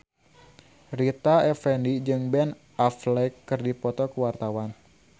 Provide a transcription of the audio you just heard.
Rita Effendy jeung Ben Affleck keur dipoto ku wartawan